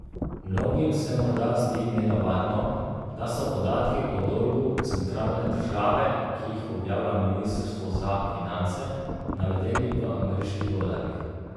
Mnogim se morda zdi nenavadno, da so podatki o dolgu centralne države, ki jih objavlja ministrstvo za finance, navedeni v ameriških dolarjih.